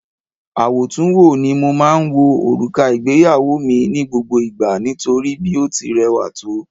Àwòtúnwò ni mo máa ń wo òrùka ìgbéyàwó mi ní gbogbo ìgbà nítorí bí ó ti rẹwà tó